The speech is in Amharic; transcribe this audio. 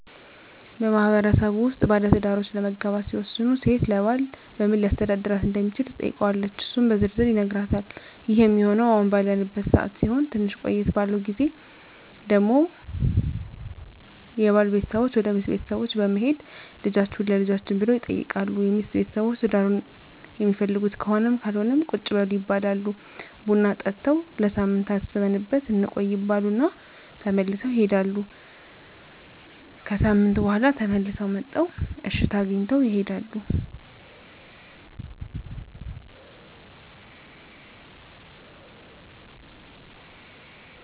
በማህበረሰቡ ውስጥ ባለትዳሮች ለመጋባት ሲወስኑ ሴት ለባል በምን ሊያስተዳድራት እንደሚችል ትጠይቀዋለች እሱም በዝርዝር ይነግራታል ይህ ሚሆነው አሁን ባለንበት ሰዓት ሲሆን ትንሽ ቆየት ባለው ግዜ ደግሞ የባል ቤተሰቦች ወደ ሚስት ቤተሰቦች በመሄድ ልጃቹህን ለልጃችን ብለው ይጠይቃሉ የሚስት ቤተሰቦች ትዳሩን ሚፈልጉት ከሆነም ካልሆነም ቁጭ በሉ ይባላሉ ቡና ጠጥተው ለሳምንት አስበንበት እንቆይ ይባሉ እና ተመልሰው ይሄዳሉ። ከሣምንት በኋላ ተመልሰው መጥተው እሽታ አግኝተው ይሄዳሉ።